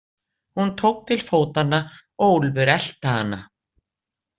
Hún tók til fótanna og Úlfur elti hana.